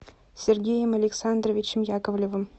сергеем александровичем яковлевым